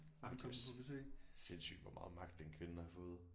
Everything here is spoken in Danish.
Jamen det er også sindssygt hvor meget magt den kvinde har fået